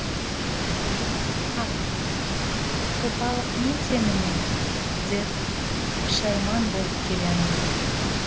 қап сопылық не теңім ед деп пішайман болып келемін